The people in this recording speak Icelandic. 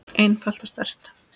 einfalt og sterkt.